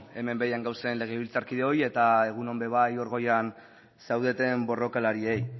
hemen behean gauden legebiltzarkideoi eta egun ere bai hor goian zaudeten borrokalariei